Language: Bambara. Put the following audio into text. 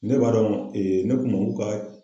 Ne b'a dɔn ne kun b'u ka